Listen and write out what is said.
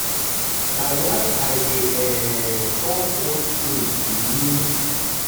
na why i dey um turn old things to new use no waste no um stress more profit.